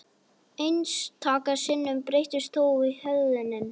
Einstaka sinnum breytist þó hegðunin.